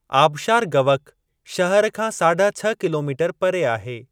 आबशारु गवक शहर खां साढा छह किलोमीटर परे आहे।